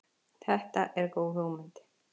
Þetta er góð hugmynd.